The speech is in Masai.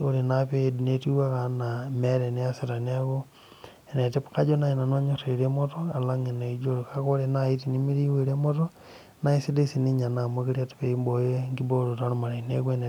ore naa pee iid naa meeta eniasita neeku kajo naaji nanu anyor irkiek leremoto alang iliijio kake ore naaji tenemiri eremoto naa eisidai sii ninye ena peibooyo enkibooroto ormarei neeku enetipat